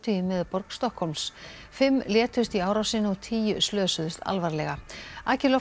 í miðborg Stokkhólms fimm létust í árásinni og tíu slösuðust alvarlega